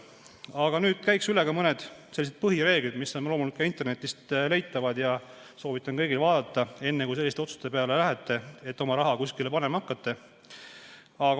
Aga nüüd käiksin üle mõned põhireeglid, mis on loomulikult ka internetist leitavad ja mida soovitan kõigil vaadata, enne kui otsustate oma raha kuskile panema hakata.